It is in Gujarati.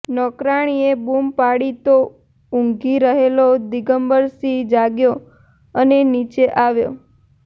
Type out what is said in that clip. નોકરાણીએ બૂમ પાડી તો ઊંઘી રહેલો દિગમ્બરસિંહ જાગ્યો અને નીચે આવ્યો